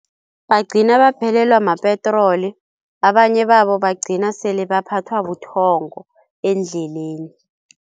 Bagcina baphelelwa mapetroli abanye babo bagcina sele baphathwa buthongo endleleni.